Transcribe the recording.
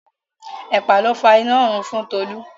Ẹ̀pà ló fa inárun fún Tolú.